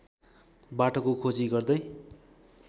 बाटोको खोजी गर्दै